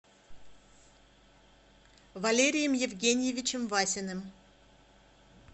валерием евгеньевичем васиным